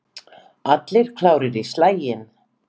Allir klárir í slaginn?